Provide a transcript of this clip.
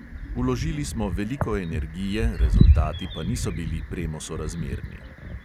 Vložili smo veliko energije, rezultati pa niso bili premosorazmerni.